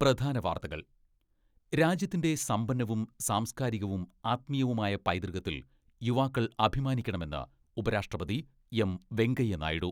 പ്രധാന വാർത്തകൾ രാജ്യത്തിന്റെ സമ്പന്നവും സാംസ്കാരികവും ആത്മീയവുമായ പൈതൃകത്തിൽ യുവാക്കൾ അഭിമാനിക്കണമെന്ന് ഉപരാഷ്ട്രപതി എം.വെങ്കയ്യ നായിഡു.